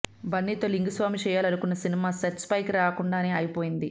బన్నీతో లింగుస్వామి చేయాలనుకున్న cinema sets పైకి రాకుండానే ఆగిపోయింది